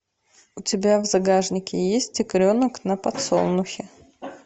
у тебя в загашнике есть тигренок на подсолнухе